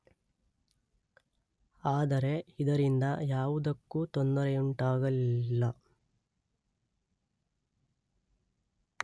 ಆದರೆ ಇದರಿಂದ ಯಾವುದಕ್ಕೂ ತೊಂದರೆಯುಂಟಾಗಲಿಲ್ಲ.